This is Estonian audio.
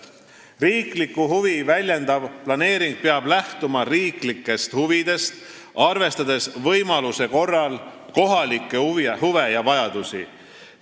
Riiklikku huvi väljendav planeering peab lähtuma riiklikest huvidest, arvestades võimaluse korral kohalikke huve ja vajadusi.